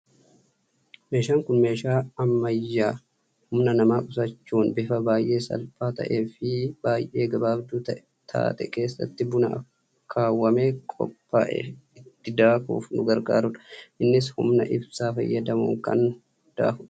Meeshaan Kun meeshaa ammayyaa, humna namaa qusachuun bifa baayyee salphaa ta'ee fi yeroo baayyee gabaabduu taate keessatti buna akaawwamee qophaa'e itti daakuuf nu gargaarudha. Innis humna ibsaa fayyadamuun kan daakudha.